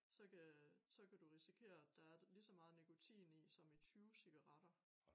Så kan så kan du risikere at der er lige så meget nikotin i som i 20 cigaretter